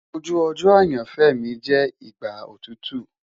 Oju ojo ayanfẹ mi jẹ igba otutu